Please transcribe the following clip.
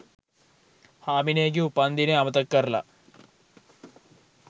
හාමිනේගෙ උපන්දිනේ අමතක කරලා